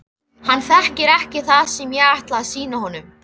Hann þekkir ekki það sem ég ætla að sýna honum.